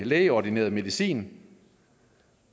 lægeordineret medicin